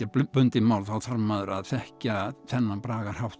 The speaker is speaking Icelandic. bundið mál þá þarf maður að þekkja þennan